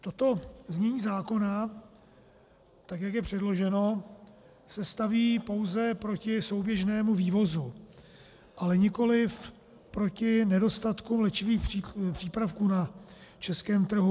Toto znění zákona, tak jak je předloženo, se staví pouze proti souběžnému vývozu, ale nikoliv proti nedostatku léčivých přípravků na českém trhu.